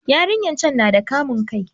Yarinyar can na da kamun kai